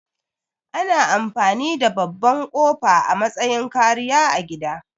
Ana amfani da babban ƙofa a matsayin kariya a gida